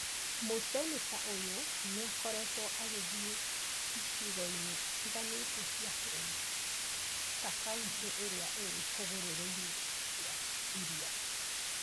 Mũseneta ũyũ nĩ akoretwo agĩthiĩ icigo-inĩ itiganĩte cia bũrũri. Ta kauntĩ iria irĩ hũgũrũrũ-inĩ cia iria,